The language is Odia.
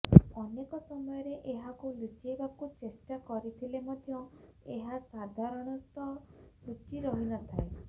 ଅନେକ ସମୟରେ ଏହାକୁ ଲୁଚାଇବାକୁ ଚେଷ୍ଟା କରିଥିଲେ ମଧ୍ୟ ଏହା ସାଧାରଣତଃ ଲୁଚି ନଥାଏ